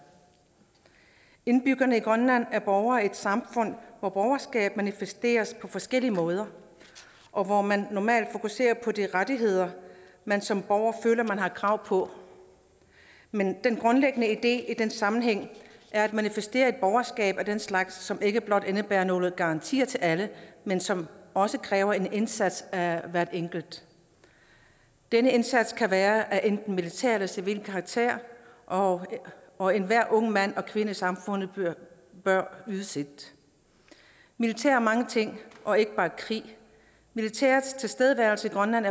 indbyggerne i grønland er borgere i et samfund hvor borgerskab manifesteres på forskellige måder og hvor man normalt fokuserer på de rettigheder man som borger føler man har krav på men den grundlæggende idé i den sammenhæng er at manifestere et borgerskab af den slags som ikke blot indebærer nogen garantier til alle men som også kræver en indsats af hver enkelt denne indsats kan være af enten militær eller civil karakter og og enhver ung mand eller kvinde i samfundet bør yde sit militær er mange ting og ikke bare krig militærets tilstedeværelse i grønland